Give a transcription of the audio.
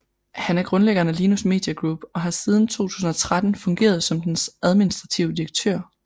Han er grundlæggeren af Linus Media Group og har siden 2013 fungeret som dens administrerende direktør